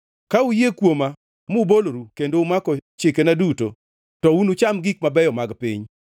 Ka uyie kuoma muboloru kendo umako chikena duto, to unucham gik mabeyo mag piny;